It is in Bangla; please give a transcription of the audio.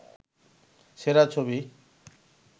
সেরা ছবি